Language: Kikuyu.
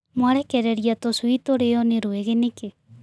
Mwarekereria tũcui tũrĩo nĩ rwĩgĩ nĩkĩ.